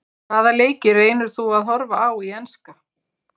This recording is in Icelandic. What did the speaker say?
Hvaða leiki reynir þú að horfa á í enska?